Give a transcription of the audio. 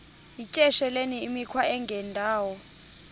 yityesheleni imikhwa engendawo